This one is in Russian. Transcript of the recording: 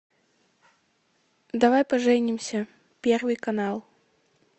давай поженимся первый канал